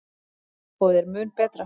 Tempóið er mun betra.